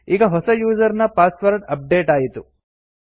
ಈಗ ಹೊಸ ಯೂಸರ್ ನ ಪಾಸ್ವರ್ಡ್ ಅಪ್ಡೇಟ್ ಆಯಿತು